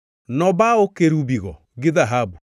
Nobawo kerubigo gi dhahabu.